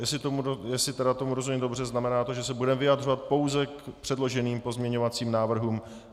Jestli tedy tomu rozumím dobře, znamená to, že se budeme vyjadřovat pouze k předloženým pozměňovacím návrhům.